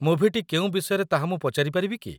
ମୁଭିଟି କେଉଁ ବିଷୟରେ ତାହା ମୁଁ ପଚାରି ପାରିବି କି?